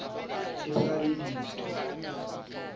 ha a letsebe le sa